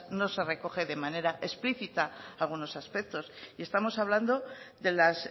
no se recogen de manera explícita algunos aspectos y estamos hablando de las